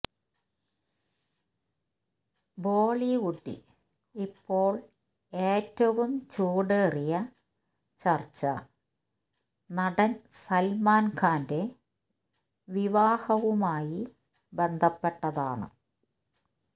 ബോളിവുഡിൽ ഇപ്പോൾ ഏറ്റവും ചൂടേറിയ ചർച്ച നടൻ സൽമാൻ ഖാന്റെ വിവാഹവുമായി ബന്ധപ്പെട്ടതാണ്